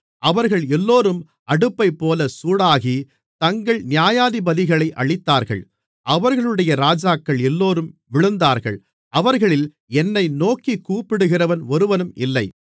அவர்கள் எல்லோரும் அடுப்பைப்போல சூடாகி தங்கள் நியாயாதிபதிகளை அழித்தார்கள் அவர்களுடைய ராஜாக்கள் எல்லோரும் விழுந்தார்கள் அவர்களில் என்னை நோக்கிக் கூப்பிடுகிறவன் ஒருவனும் இல்லை